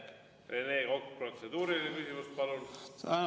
Rene Kokk, protseduuriline küsimus, palun!